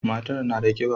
Matar na da kiba.